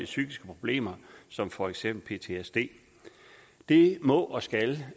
psykiske problemer som for eksempel ptsd det må og skal